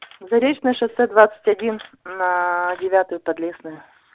заречное шоссе двадцать один на девятую подлесную